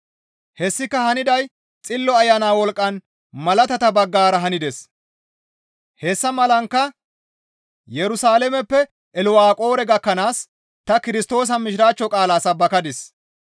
Hessika haniday Xillo Ayana wolqqan malaatata baggara hanides; hessa malankka Yerusalaameppe Ilwaqoore gakkanaas ta Kirstoosa Mishiraachcho qaalaa sabbakadis.